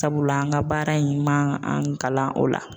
Sabula an ka baara in man an kalan o la.